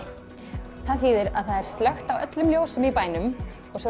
það þýðir að það er slökkt á öllum ljósum í bænum og svo